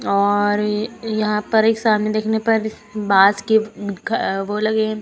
और यहां पर एक सामने देखने पर इस बाँस के घ वो लगे हैं।